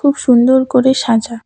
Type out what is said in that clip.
খুব সুন্দর করে সাজা।